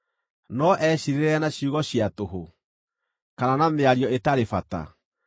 No eciirĩrĩre na ciugo cia tũhũ, kana na mĩario ĩtarĩ bata?